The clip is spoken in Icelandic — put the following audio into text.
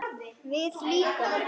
Við líka?